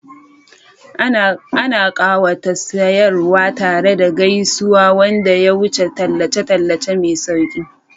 Ana ƙawata siyarwa tare da gaisuwa wanda ya wuce tallace-tallace mai sauƙi.